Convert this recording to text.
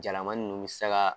Jalamanin ninnu bɛ se ka